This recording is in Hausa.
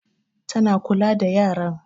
Ta na kula da yaran.